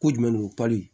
Ko jumɛn de don pali